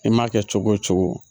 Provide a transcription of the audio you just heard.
I m'a kɛ cogo o cogo